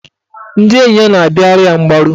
Ndị enyi ya na-abịara ya mgbaru.